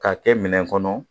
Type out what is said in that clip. K'a kɛ minɛn kɔnɔ